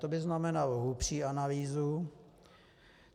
To by znamenalo hlubší analýzu.